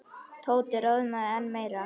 Tóti roðnaði enn meira.